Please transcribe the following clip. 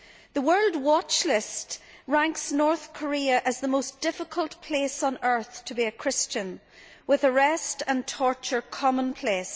The World Watch List ranks North Korea as the most difficult place on earth to be a Christian, with arrest and torture commonplace.